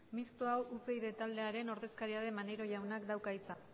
mistoa upyd taldearen ordezkaria den maneiro jaunak dauka hitza